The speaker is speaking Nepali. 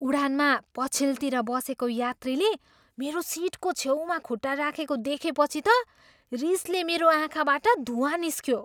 उडानमा पछिल्तिर बसेको यात्रीले मेरो सिटको छेउमा खुट्टा राखेको देखेपछि त रिसले मेरो आँखाबाट धुँवा निस्कियो।